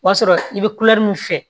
O b'a sɔrɔ i bɛ min fɛ